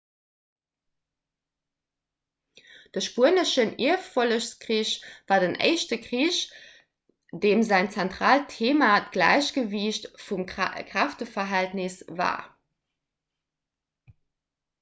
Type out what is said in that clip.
de spueneschen ierffollegskrich war den éischte krich deem säin zentraalt theema d'gläichgewiicht vum kräfteverhältnis war